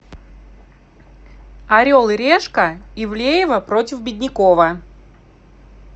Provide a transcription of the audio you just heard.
орел и решка ивлеева против беднякова